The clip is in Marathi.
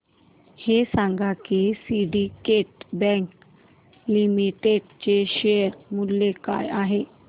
हे सांगा की सिंडीकेट बँक लिमिटेड चे शेअर मूल्य काय आहे